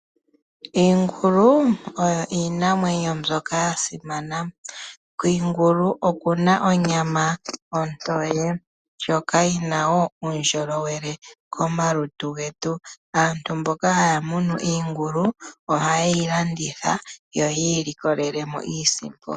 Iingulu oyo iinamwenyo mbyoka yasimana. Kiingulu okuna oonyama ndyoka ontoye ndyoka yina uundjolowele komalutu getu. Aantu mboka haya munu iingulu ohayeyi landitha yo yiilikolelemo iisimpo.